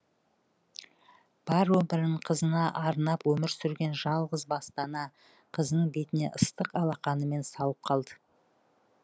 бар өмірін қызына арнап өмір сүрген жалғыз басты ана қызының бетіне ыстық алақанымен салып қалды